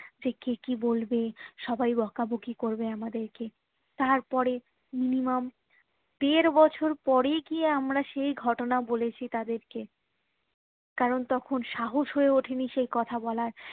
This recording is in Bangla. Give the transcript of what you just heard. সে কে কি বলবে সবাই বকাবকি করবে আমাদের কে তারপরে minimum দেড় বছর পরে কি আমরা সেই ঘটনা বলেছি তাদেরকে কারণ তখুন সাহস হয়ে ওঠেনি সেই কথা বলার